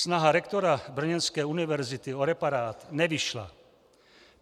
Snaha rektora brněnské univerzity o reparát nevyšla.